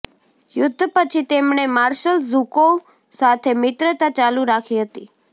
યુદ્ધ પછી તેમણે માર્શલ ઝુકોવ સાથે મિત્રતા ચાલુ રાખી હતી